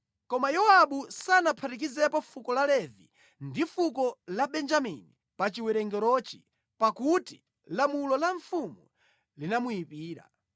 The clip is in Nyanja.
Koma Yowabu sanaphatikizepo fuko la Levi ndi fuko la Benjamini pa chiwerengerochi, pakuti lamulo la mfumu linamuyipira.